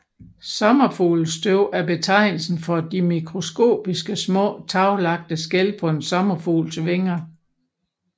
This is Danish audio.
Sommerfuglestøv er betegnelsen for de mikroskopiske små taglagte skæl på en sommerfugls vinger